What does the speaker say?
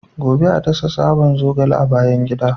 Gobe ​​a dasa tsaban zogale a bayan gida.